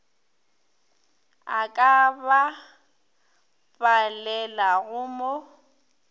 a ka ba palelago mo